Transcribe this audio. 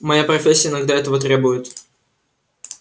моя профессия иногда этого требует